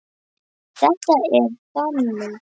Þetta er þannig.